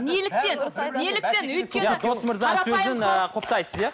неліктен неліктен өйткені